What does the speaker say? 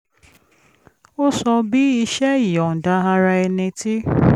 ó sọ bí iṣẹ́ ìyọ̀ǹda ara ẹni tí